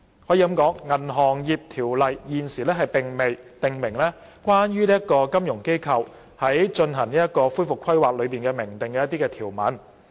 《銀行業條例》現時並未訂明關於金融機構須進行恢復規劃的明訂條文。